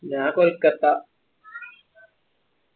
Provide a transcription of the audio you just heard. ഞാ കൊൽക്കത്ത